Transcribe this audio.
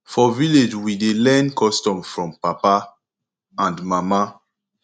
for village we dey learn custom from papa and mama